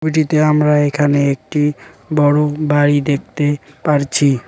ছবিটিতে আমরা এখানে একটি বড়ো বাড়ি দেখতে পারছি।